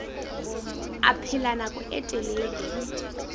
a phela nako e telele